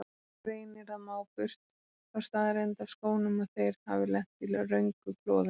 Reynir að má burt þá staðreynd af skónum að þeir hafi lent í röngu klofi.